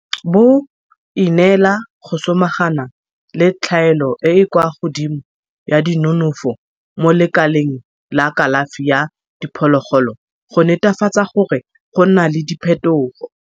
bo ineela go samagana le tlhaelo e e kwa godimo ya dinonofo mo lekaleng la kalafi ya diphologolo go netefatsa gore go nna le diphetogo.